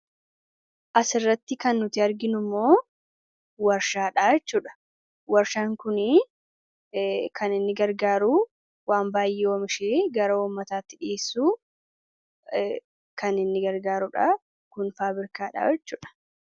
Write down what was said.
Asirratti kan nuti arginu immoo warshaadha jechuudha. Warshaan kun kan inni gargaaru waan baay'ee oomishuun gara uummataatti dhiiyessuun kan inni gargaaruudha.